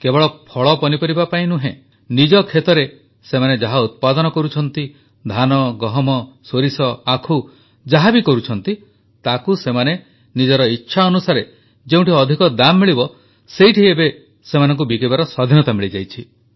କେବଳ ଫଳପନିପରିବା ପାଇଁ ନୁହେଁ ନିଜ ଖେତରେ ସେମାନେ ଯାହା ଉତ୍ପାଦନ କରୁଛନ୍ତି ଧାନ ଗହମ ସୋରିଷ ଆଖୁ ଯାହା ବି କରୁଛନ୍ତି ତାକୁ ସେମାନେ ନିଜ ଇଚ୍ଛା ଅନୁସାରେ ଯେଉଁଠି ଅଧିକ ଦାମ୍ ମିଳିବ ସେଇଠି ଏବେ ସେମାନଙ୍କୁ ବିକିବାର ସ୍ୱାଧୀନତା ମିଳିଯାଇଛି